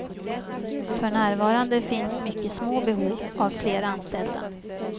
För närvarande finns mycket små behov av fler anställda.